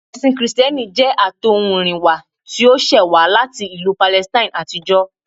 Ẹ̀sìn kìrìtẹ́nì jẹ́ ẹṣin àtọ̀húnrìnwá tí ó ṣẹ̀ wá láti ìlú Palestine àtijọ́